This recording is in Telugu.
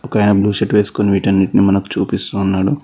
ఒకాయన బ్లూ షర్ట్ వేసుకొని విటన్నిటిని మనకు చూపిస్తున్నాడు.